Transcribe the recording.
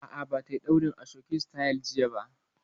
A'a, ba ta yi ɗaurin ashoke sityl jiya